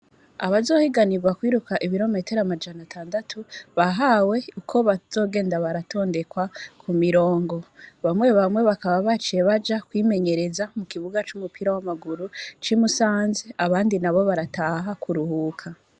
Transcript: Abazohiganirwa kwiruka ibirometero amajana atandatu bahawe uko bazogenda baratondekwa ku mirongo. Bamwebamwe bakaba baciye baja kwimenyereza ku kibuga c'i Musanze abandi nabo barataha kuruhuka.